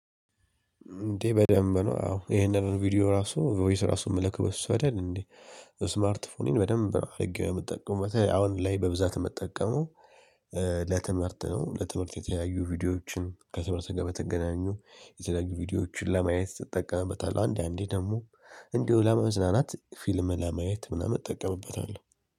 እንዴ በደንብ ነው አዎ ይሄንን ቪዲዮ ራሱ ፎይስ ራሱን እምልክ በሱ አይደል እንዴ? ስማርት ፎኔን በደንብ አድርጌ ነው የምትጠቀመው አሁን ላይ በብዛት የምትጠቀመው። ለትምህርት ነው ለትምህርት የተለያዩ ቪዲዮዎችን ከትምህርት ጋር በተገናኙ የተለያዩ ቪዲዮዎችን ለማየት ትጠቀምበታለህ። አንዳንዴ ደግሞ እንዲሁ ለመዝናናት ፊልም ለማየት ምናምን እጠቀምበታለሁ